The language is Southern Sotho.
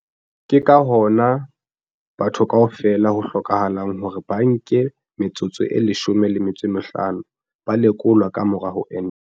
Ke ka hona batho kaofela ho hlokahalang hore ba ke ba nke metsotso e 15 ba lekolwa ka mora ho enta.